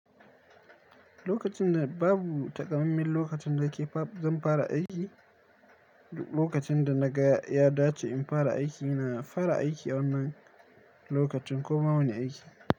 Lokacin da babu taƙamaimen lokacin da ke fa zan fara aiki, lokacin da na ga ya dace in fara aiki, na fara aiki wannan lokacin ko ma wani aiki.